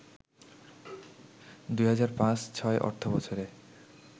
২০০৫-০৬ অর্থবছরে